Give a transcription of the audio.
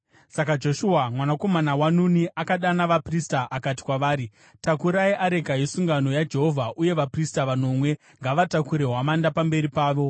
Saka Joshua mwanakomana waNuni akadana vaprista akati kwavari, “Takurai areka yesungano yaJehovha uye vaprista vanomwe ngavatakure hwamanda pamberi pavo.”